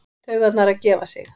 Taugarnar að gefa sig.